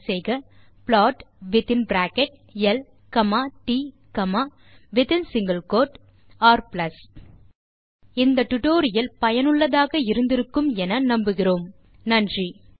type செய்க plot within bracket ல் comma t comma within single quote r இந்த tutorial லை படித்து பயன்பெற்று இருப்பீர்கள் என்று நம்புகிறேன் நன்றி